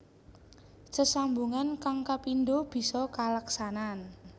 Sesambungan kang kapindho bisa kaleksanan